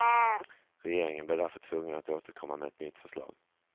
Regeringen blir därför tvungen att återkomma med ett nytt förslag.